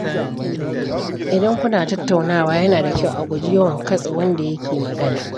Idan kuna tattaunawa, yana da kyau a guji yawan katse wanda yake magana.